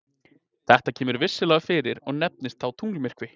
Þetta kemur vissulega fyrir og nefnist það þá tunglmyrkvi.